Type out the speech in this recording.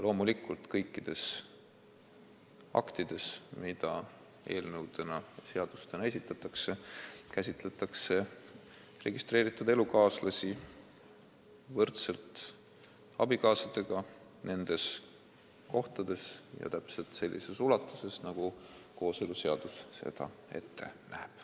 Loomulikult käsitletakse kõikides aktides, mida eelnõudena ja seadustena esitatakse, registreeritud elukaaslasi võrdselt abikaasadega nendes kohtades ja täpselt sellises ulatuses, nagu kooseluseadus seda ette näeb.